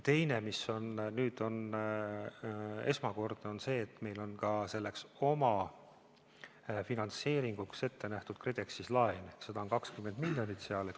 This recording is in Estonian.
Teine, mis on esmakordne, on see, et meil on selleks omafinantseeringuks ette nähtud KredExis laen, seda on 20 miljonit.